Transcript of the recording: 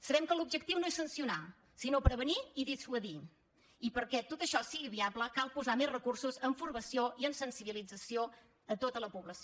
sabem que l’objectiu no és sancionar sinó prevenir i dissuadir i perquè tot això sigui viable cal posar més recursos en formació i en sensibilització a tota la població